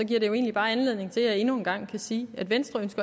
giver det jo egentlig bare anledning til at jeg endnu en gang kan sige at venstre